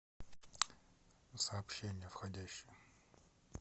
сообщения входящие